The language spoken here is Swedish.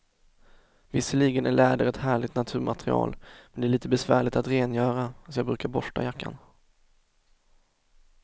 Visserligen är läder ett härligt naturmaterial, men det är lite besvärligt att rengöra, så jag brukar borsta jackan.